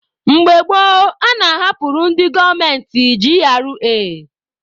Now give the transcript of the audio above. Mgbe gboo, a na-ahapụrụ ndị gọọmenti GRA.